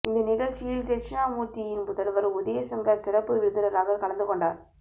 இந்த நிகழ்ச்சியில் தெட்சணாமூர்த்தியின் புதல்வர் உதயசங்கர் சிறப்பு விருந்தினராக கலந்து கொண்டார்